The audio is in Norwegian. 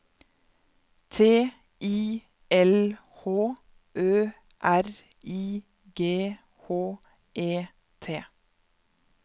T I L H Ø R I G H E T